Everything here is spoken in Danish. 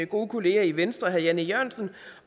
gode kollega i venstre herre jan e jørgensen